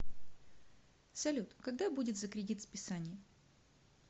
салют когда будет за кредит списание